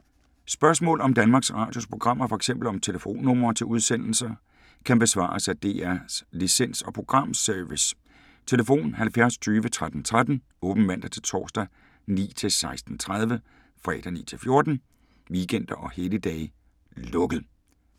Spørgsmål om Danmarks Radios programmer, f.eks. om telefonnumre til udsendelser, kan besvares af DR Licens- og Programservice: tlf. 70 20 13 13, åbent mandag-torsdag 9.00-16.30, fredag 9.00-14.00, weekender og helligdage: lukket.